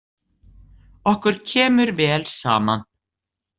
Okkur kemur vel saman.